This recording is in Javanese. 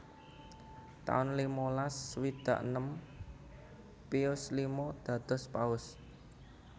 taun limalas swidak enem Pius lima dados Paus